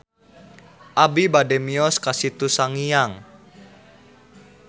Abi bade mios ka Situ Sangiang